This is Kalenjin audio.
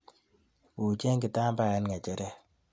Buuchen kitambaet ng'echeret